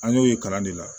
An y'o ye kalan de la